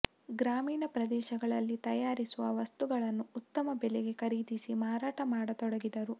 ಗ್ರಾಮೀಣ ಪ್ರದೇಶಗಳಲ್ಲಿ ತಯಾರಿಸುವ ವಸ್ತುಗಳನ್ನು ಉತ್ತಮ ಬೆಲೆಗೆ ಖರೀದಿಸಿ ಮಾರಾಟ ಮಾಡತೊಡಗಿದರು